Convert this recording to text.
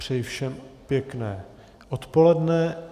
Přeji všem pěkné odpoledne.